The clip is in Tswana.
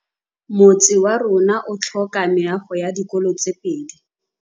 Motse warona o tlhoka meago ya dikolô tse pedi.